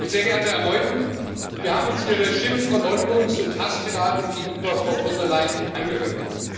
Sehr geehrter Herr Meuthen, wir haben uns Ihre Schimpf Verleumdungs und Hasstiraden gegenüber Frau von der Leyen angehört.